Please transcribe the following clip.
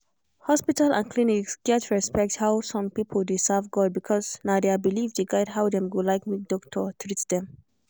hospital and clinic gats respect how some people dey serve god because na their belief dey guide how dem go like make doctor treat dem.